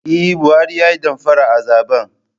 Eh Buhari ya Yi damfara a zaben.